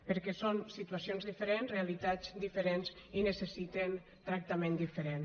perquè són situacions diferents realitats diferents i necessiten tractament diferent